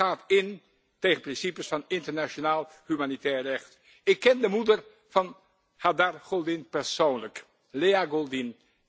Dit gaat in tegen principes van internationaal humanitair recht. Ik ken de moeder van Hadar Goldin persoonlijk, Lea Goldin.